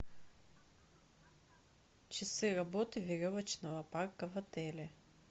часы работы веревочного парка в отеле